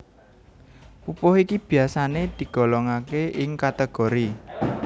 Pupuh iki biyasané digolongaké ing kategori